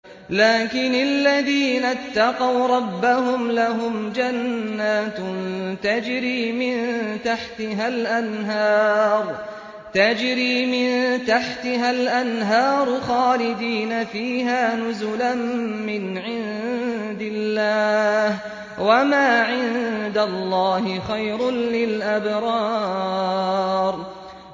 لَٰكِنِ الَّذِينَ اتَّقَوْا رَبَّهُمْ لَهُمْ جَنَّاتٌ تَجْرِي مِن تَحْتِهَا الْأَنْهَارُ خَالِدِينَ فِيهَا نُزُلًا مِّنْ عِندِ اللَّهِ ۗ وَمَا عِندَ اللَّهِ خَيْرٌ لِّلْأَبْرَارِ